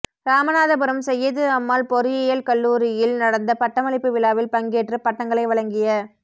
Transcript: ராமநாதபுரம் செய்யது அம்மாள் பொறியியல் கல்லுாரியில் நடந்த பட்டமளிப்பு விழாவில் பங்கேற்று பட்டங்களை வழங்கிய